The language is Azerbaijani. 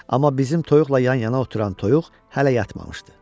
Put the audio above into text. Amma bizim toyuqla yanaşı oturan toyuq hələ yatmamışdı.